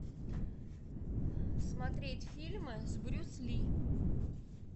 смотреть фильмы с брюс ли